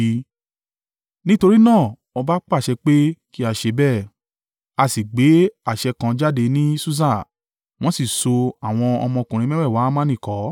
Nítorí náà ọba pàṣẹ pé kí a ṣe bẹ́ẹ̀. A sì gbé àṣẹ kan jáde ní Susa, wọ́n sì so àwọn ọmọkùnrin mẹ́wẹ̀ẹ̀wá Hamani kọ́.